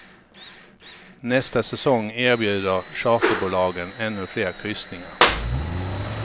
Nästa säsong erbjuder charterbolagen ännu fler kryssningar.